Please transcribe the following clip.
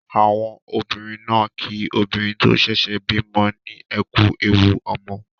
Àwọn obìnrin náà kí obìnrin tó ṣẹ̀ṣẹ̀ bímọ ní "ẹ kú ewu ọmọ".